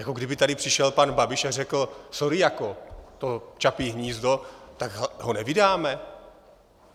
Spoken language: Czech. Jako kdyby tady přišel pan Babiš a řekl "sorry jako, to Čapí hnízdo", tak ho nevydáme?